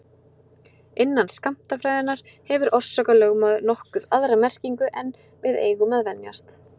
Innan skammtafræðinnar hefur orsakalögmálið nokkuð aðra merkingu en við eigum að venjast.